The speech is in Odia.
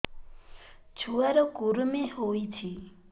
ଛୁଆ ର କୁରୁମି ହୋଇଛି